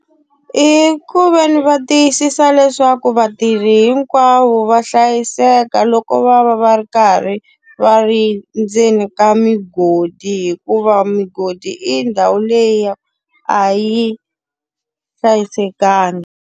I ku ve ni va tiyisisa leswaku vatirhi hinkwavo va hlayiseka loko va va va ri karhi va ri ndzeni ka migodi, hikuva migodi i ndhawu leyi a yi hlayisekanga.